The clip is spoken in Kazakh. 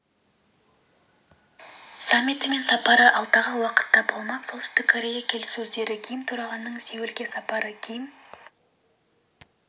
саммиті мен сапары алдағы уақытта болмақ солтүстік корея келіссөздері ким төрағаның сеулге сапары ким